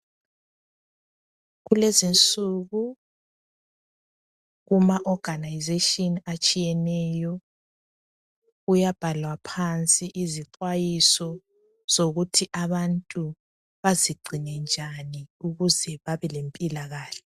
Kulezi insuku kuma oganayizetshini atshiyeneyo kuyabhalwa phansi izixwayiso zokuthi abantu bazingcine njani ukuze babe lempila kahle.